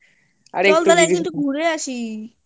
চল তাহলে একদিনকে একটু ঘুরে আসি